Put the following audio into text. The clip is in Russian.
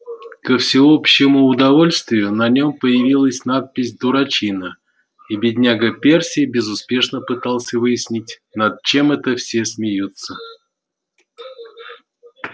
ко всеобщему удовольствию на нём появилась надпись дурачина и бедняга перси безуспешно пытался выяснить над чем это все смеются